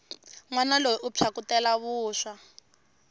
nwana loyi u phyakutela vuswa